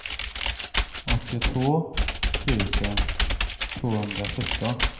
åttiotvå tusen tvåhundrasjutton